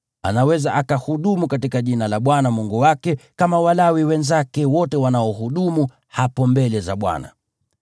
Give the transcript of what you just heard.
anaweza akahudumu katika jina la Bwana Mungu wake kama Walawi wenzake wote wanaohudumu hapo mbele za Bwana .